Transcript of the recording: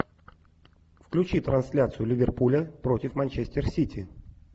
включи трансляцию ливерпуля против манчестер сити